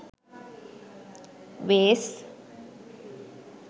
vase